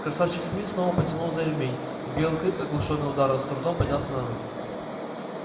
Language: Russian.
красавчик смит снова потянул за ремень и белый клык оглушённый ударом с трудом поднялся на ноги